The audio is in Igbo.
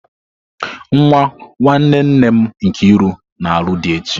Nwa nwanne nne m Nkiru na-alụ di echi.